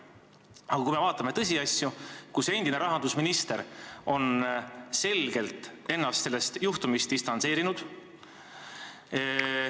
Aga kui me vaatame tõsiasja, et endine rahandusminister on ennast sellest juhtumist selgelt distantseerinud, et ...